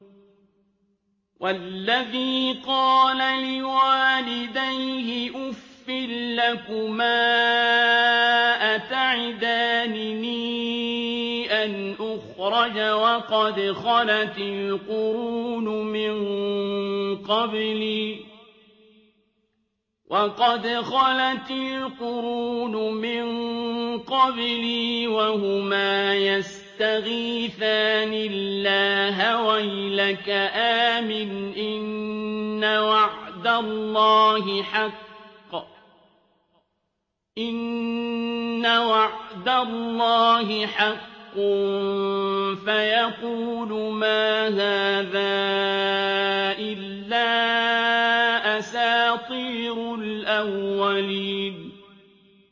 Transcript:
وَالَّذِي قَالَ لِوَالِدَيْهِ أُفٍّ لَّكُمَا أَتَعِدَانِنِي أَنْ أُخْرَجَ وَقَدْ خَلَتِ الْقُرُونُ مِن قَبْلِي وَهُمَا يَسْتَغِيثَانِ اللَّهَ وَيْلَكَ آمِنْ إِنَّ وَعْدَ اللَّهِ حَقٌّ فَيَقُولُ مَا هَٰذَا إِلَّا أَسَاطِيرُ الْأَوَّلِينَ